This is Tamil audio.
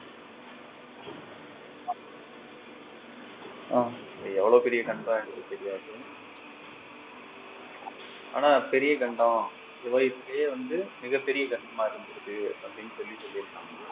அது எவ்வளவு பெரிய கண்டம் எனக்கு தெரியாது ஆனா பெரிய கண்டம் உலகத்திலேயே வந்து மிகப்பெரிய கண்டமா இருந்திருக்கு அப்படின்னு சொல்லி சொல்லிருக்காங்க